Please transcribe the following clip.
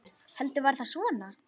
Heldur var það svona!